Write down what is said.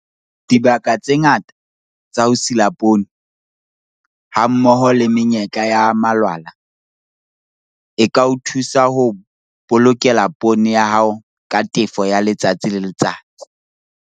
Dibaka tse ngata tsa ho sila poone, hammoho le menyetla ya malwala, e ka o thusa ho o bolokela poone ya hao ka tefo ya letsatsi le letsatsi.